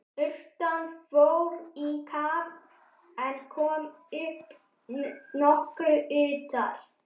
Urtan fór í kaf en kom upp nokkru utar.